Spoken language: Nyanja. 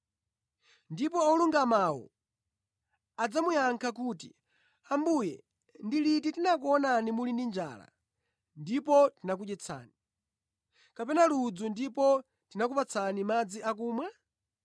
“Ndipo olungamawo adzamuyankha kuti, ‘Ambuye ndi liti tinakuonani muli ndi njala ndipo tinakudyetsani, kapena ludzu ndipo tinakupatsani madzi akumwa?